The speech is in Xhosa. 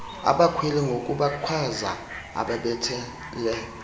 abakhweli ngokubakhwaza ubabethele